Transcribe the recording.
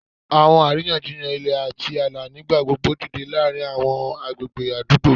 Awọn ariyanjiyan ilẹ ati aala nigbagbogbo dide laarin awọn agbegbe adugbo,